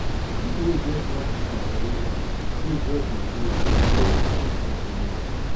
people wey get small business for area wey just dey grow dey sell for street to live